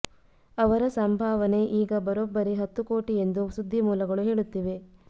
ಅವರ ಸಂಭಾವನೆ ಈಗ ಬರೋಬ್ಬರಿ ಹತ್ತು ಕೋಟಿ ಎಂದು ಸುದ್ದಿಮೂಲಗಳು ಹೇಳುತ್ತಿವೆ